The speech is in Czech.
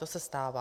To se stává.